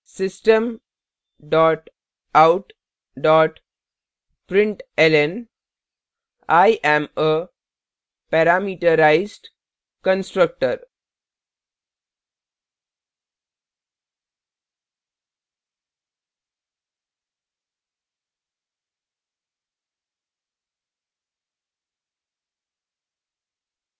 system dot out dot println i am a parameterized constructor